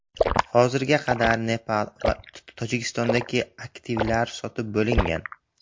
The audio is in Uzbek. Hozirga qadar Nepal va Tojikistondagi aktivlar sotib bo‘lingan.